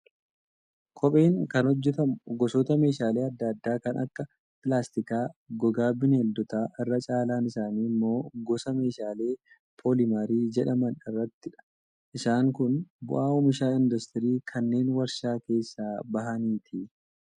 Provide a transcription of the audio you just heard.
Kopheen kan hojjatamu gosoota meeshaalee adda addaa kan akka pilaastikaa, gogaa bineeldotaa irra caalaan isaanii immoo gosa meeshaalee pooliimarii jedhaman irraatidha. Isaan kun bu'aa oomisha industirii kanneen warshaa keessaa bahaniiti.